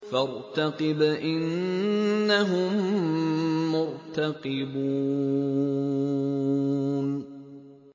فَارْتَقِبْ إِنَّهُم مُّرْتَقِبُونَ